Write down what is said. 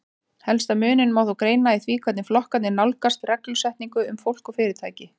Helsta muninn má þó greina í því hvernig flokkarnir nálgast reglusetningu um fólk og fyrirtæki.